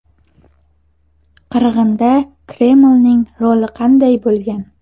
Qirg‘inda Kremlning roli qanday bo‘lgan?.